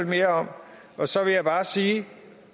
mere om så vil jeg bare sige at